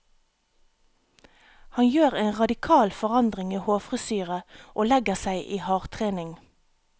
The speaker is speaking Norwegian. Han gjør en radikal forandring i hårfrisyre og legger seg i hardtrening.